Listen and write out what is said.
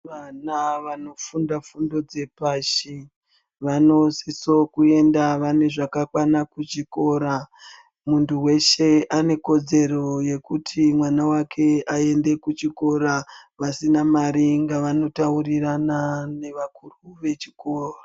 Vana vanofunda fundo dzepashi vanosisewo kuenda vanezvakakwana kuchikora muntu weshe anekodzero yekuti mwana wake aende kuchikora vasina mare ngavanotaurirana nevakuru vechikora